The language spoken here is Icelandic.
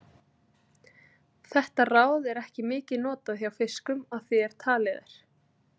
Þetta ráð er ekki mikið notað hjá fiskum að því er talið er.